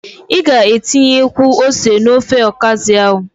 Ị ga-etinyekwu ose n'ofe ọkazị ahụ.